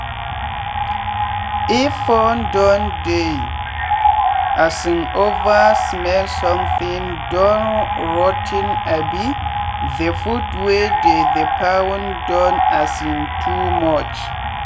if pond don dey um over smellsomething don rot ten abi the food wey dey the pond don um too much